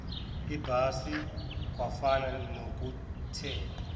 ibhasi kwafana nokuthela